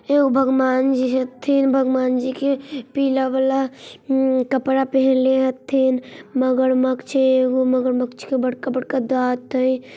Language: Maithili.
शिव भगवान जी हैशिव भगवान जी की पीला वाला उम कपड़ा पहन लेते थे मगरमच्छ है अग वो मगरमच्छ बड़का-बड़का दांत है।